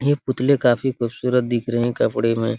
ये पुतले काफी खूबसूरत दिख रहे हैं कपड़े में।